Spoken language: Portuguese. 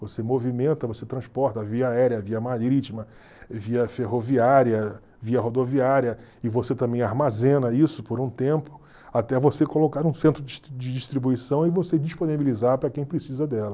Você movimenta, você transporta via aérea, via marítima, via ferroviária, via rodoviária, e você também armazena isso por um tempo até você colocar um centro de distribuição e você disponibilizar para quem precisa dela.